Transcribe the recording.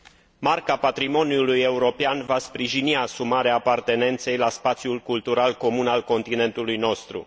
Marca patrimoniului european va sprijini asumarea apartenenței la spațiul cultural comun al continentului nostru.